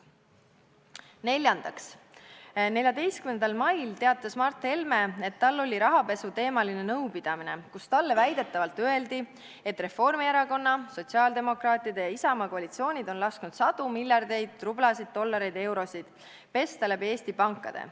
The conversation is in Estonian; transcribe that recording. Neljandaks, 14. mail teatas Mart Helme, et tal oli rahapesuteemaline nõupidamine, kus talle väidetavalt öeldi: "Reformierakonna, Sotsiaaldemokraatide ja Isamaa koalitsioonid on lasknud sadu miljardeid rublasid, dollareid, eurosid pesta läbi Eesti pankade.